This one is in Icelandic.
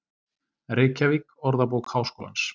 Reykjavík, Orðabók Háskólans.